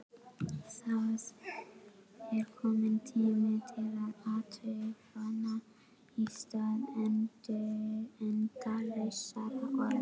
Það er kominn tími til athafna í stað endalausra orða.